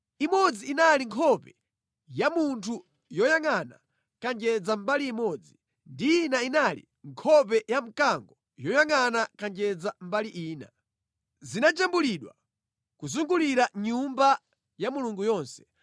imodzi inali nkhope ya munthu yoyangʼana kanjedza mbali imodzi, ndi ina inali nkhope ya mkango yoyangʼana kanjedza mbali ina. Zinajambulidwa kuzungulira Nyumba ya Mulungu yonse.